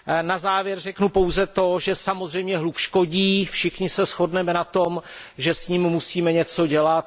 Na závěr řeknu pouze to, že samozřejmě hluk škodí, všichni se shodneme na tom, že s ním musíme něco dělat.